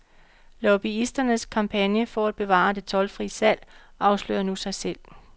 Lobbyisternes kampagne for at bevare det toldfrie salg afslører nu sig selv.